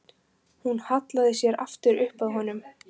Hún hallaði sér aftur upp að honum.